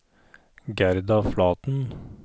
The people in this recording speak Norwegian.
Gerda Flaten